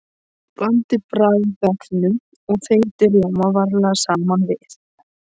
Blandið bragðefnum og þeyttum rjóma varlega saman við.